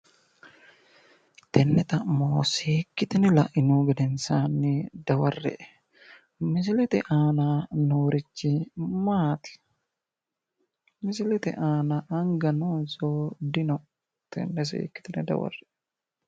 Tenne xa'mo seekkitina la'inihu gensaanni dawarre"e misilete aana noorichi maati misilete aana anga noonso dino tenne siikkitine dawarre"e